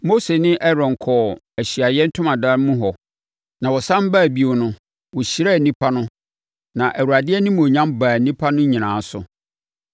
Mose ne Aaron kɔɔ Ahyiaeɛ Ntomadan mu hɔ na wɔsane baa bio no, wɔhyiraa nnipa no na Awurade animuonyam baa nnipa no nyinaa so.